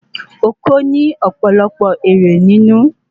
Oko ni òpòlopò ere ninu